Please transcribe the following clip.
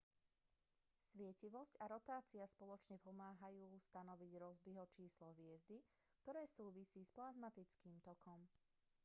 svietivosť a rotácia spoločne pomáhajú stanoviť rossbyho číslo hviezdy ktoré súvisí s plazmatickým tokom